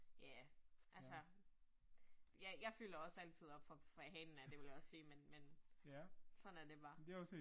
Ja. Altså jeg jeg fylder også altid op fra fra hanen af, det vil jeg også sige. Men men sådan er det bare